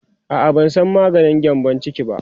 a'a ban San maganin gyambun ciki ba